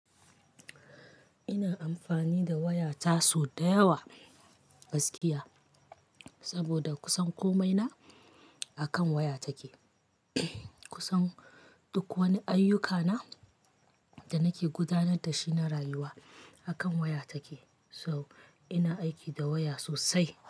Ina amfani da waya taso da yawa gaskiya, saboda kusan komai na akan waya take. Kusan duk wani ayyuka na da nake gudanar da shi na rayuwa akan waya take. So ina aiki da waya sosai.